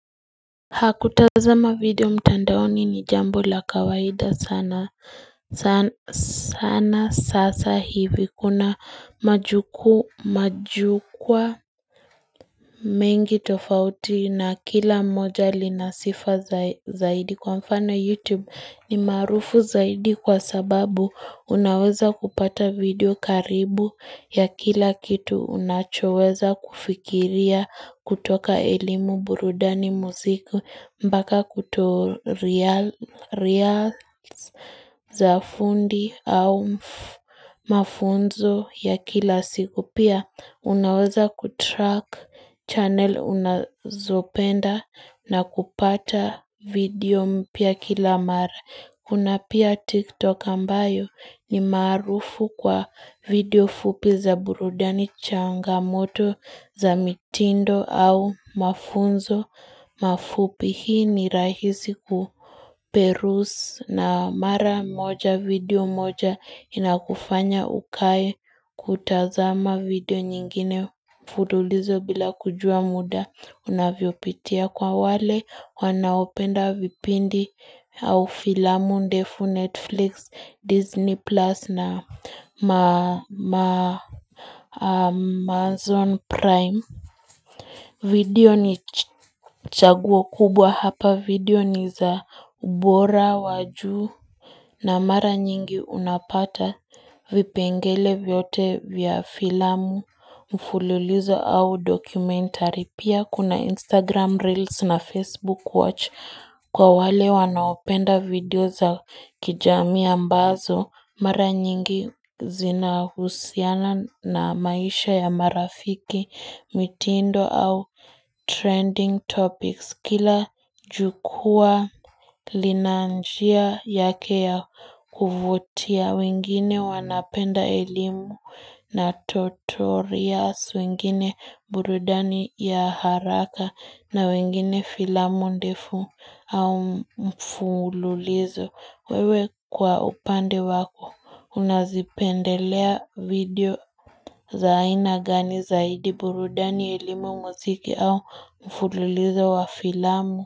Kutazama video mtandaoni ni jambo la kawaida sana sasa hivi, kuna majukwa mingi tofauti na kila moja linasifa zaidi kwa mfano YouTube, ni maarufu zaidi kwa sababu unaweza kupata video karibu ya kila kitu unachoweza kufikiria, kutoka elimu, burudani, muziki, mpaka kuto reels za fundi au mafunzo ya kila siku. Pia unaweza kutrack channel unazopenda na kupata video mpya kila mara Kuna pia TikTok ambayo ni maarufu kwa video fupi za burudani, changamoto za mitindo au mafunzo mafupi. Hii ni rahisi kuperuse na mara moja video moja inakufanya ukae kutazama video nyingine mfululizo bila kujua muda unavyopitia. Kwa wale wanaopenda vipindi au filamu ndefu Netflix, Disney plus na Amazon Prime. Video ni chaguo kubwa hapa, video ni za ubora wa juu, na mara nyingi unapata vipengele vyote vya filamu, mfululizo au documentary. Pia kuna Instagram Reels na Facebook Watch kwa wale wanaopenda video za kijamii ambazo mara nyingi zinahusiana na maisha ya marafiki mitindo au trending topics. Kila jukwaa lina njia yake ya kuvutia, wengine wanapenda elimu na tutorials, wengine burudani ya haraka, na wengine filamu ndefu au mfululizo. Wewe kwa upande wako unazipendelea video za ina gani zaidi, burudani, elimu, muziki au mfululizo wa filamu?